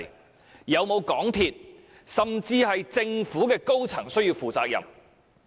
是否有港鐵公司甚或政府的高層需要負上責任？